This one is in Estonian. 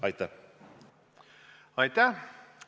Aitäh!